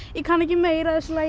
ég kann ekki meira af þessu lagi